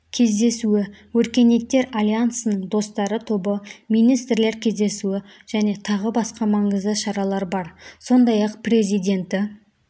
кездесуі өркениеттер альянсының достары тобы министрлер кездесуі және тағы басқа маңызды шаралар бар сондай-ақ президенті